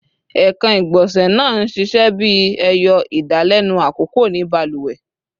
Ekan igbonse naa n ṣiṣẹ bi ẹyọ idalẹnu akọkọ ni baluwe